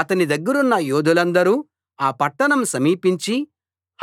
అతని దగ్గరున్న యోధులందరు ఆ పట్టణం సమీపించి